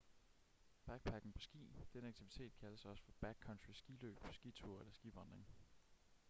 backpacking på ski denne aktivitet kaldes også for backcountry skiløb skiture eller skivandring